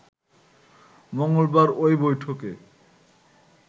মঙ্গলবার ওই বৈঠকে